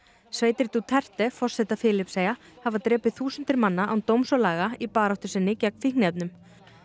sveitir Duterte forseta Filippseyja hafa drepið þúsundir manna án dóms og laga í baráttu sinni gegn fíkniefnum